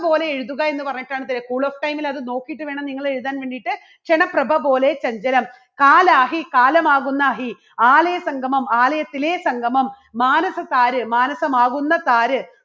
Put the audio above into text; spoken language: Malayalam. പോലെ എഴുതുക എന്ന് പറഞ്ഞിട്ടാണ് ത cool of time ല് അത് നോക്കിയിട്ട് വേണം നിങ്ങൾ എഴുതാൻ വേണ്ടിയിട്ട്. ക്ഷണ പ്രഭ പോലെ ചഞ്ചലം കാലാഹി കാലമാകുന്ന അഹി, ആലയ സംഗമം ആലയത്തിലെ സംഗമം, മാനസതാര് മാനസമാകുന്ന താര്,